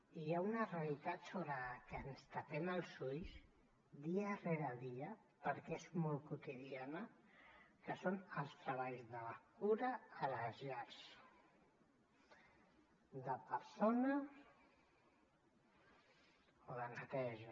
i hi ha una realitat sobre que ens tapem els ulls dia rere dia perquè és molt quotidiana que són els treballs de la cura a les llars de persona o de neteja